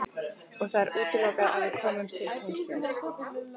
Og það er útilokað að við komust til tunglsins.